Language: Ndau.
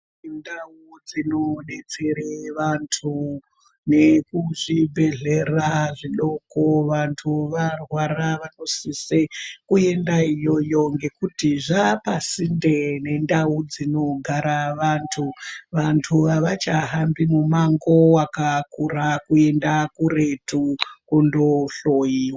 Ndau dzinobetsere vantu nekuzvibhedhlera zvidoko vantu varwara vanosise kuenda iyoyo ngekuti zvapasinde nendau dzinogara vantu. Vantu havachahambi mumango wakakura kuenda kuretu kundohloiwa.